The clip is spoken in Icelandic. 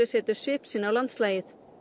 setur svip sinn á landslagið